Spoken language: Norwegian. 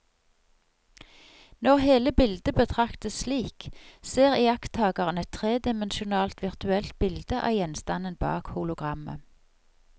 Når hele bildet betraktes slik, ser iakttakeren et tredimensjonalt virtuelt bilde av gjenstanden bak hologrammet.